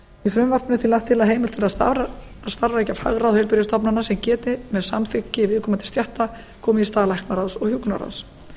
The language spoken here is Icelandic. í frumvarpinu er því lagt til að heimild til að starfrækja fagráð heilbrigðisstofnana sem geti með samþykki viðkomandi stétta komið í stað læknaráðs og hjúkrunarráðs